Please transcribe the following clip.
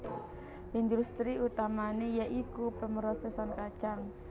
Industri utamané ya iku pemrosèsan kacang